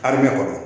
Karimɛ kɔnɔ